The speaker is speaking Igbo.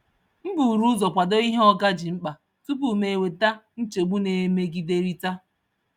M buru ụzọ kwado ihe oga ji mkpa tupu m eweta nchegbu na-emegiderịta.